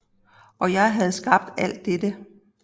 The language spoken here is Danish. Og jeg havde skabt alt dette